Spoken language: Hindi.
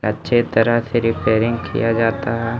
अच्छे तरह से रिपेयरिंग किया जाता है।